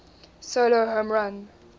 solo home run